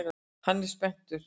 Hann er spenntur.